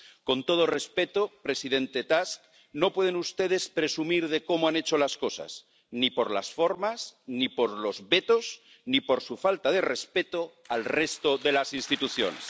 Con todo respeto, presidente Tusk, no pueden ustedes presumir de cómo han hecho las cosas, ni por las formas, ni por los vetos, ni por su falta de respeto al resto de las instituciones.